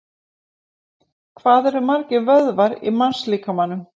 Hvað eru margir vöðvar í mannslíkamanum?